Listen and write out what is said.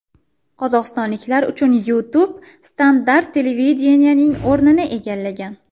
Qozog‘istonliklar uchun YouTube standart televideniyening o‘rnini egallagan.